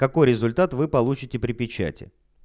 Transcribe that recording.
какой результат вы получите при печати